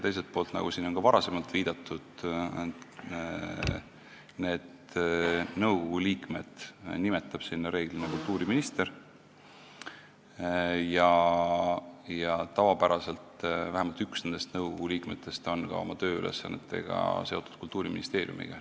Teiselt poolt, nagu siin on ka varem viidatud, nõukogu liikmed nimetab reeglina kultuuriminister ja tavapäraselt on vähemalt üks nõukogu liikmetest oma tööülesannete kaudu seotud Kultuuriministeeriumiga.